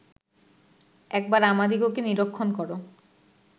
একবার আমাদিগকে নিরীক্ষণ কর